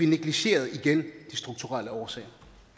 negligerer de strukturelle årsager